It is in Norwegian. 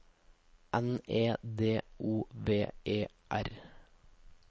N E D O V E R